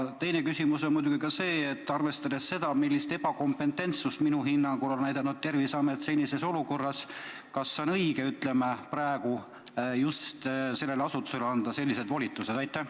Teine küsimus on muidugi see, et arvestades, millist ebakompetentsust minu hinnangul on näidanud Terviseamet senises olukorras, siis kas on õige praegu just sellele asutusele anda selliseid volitusi?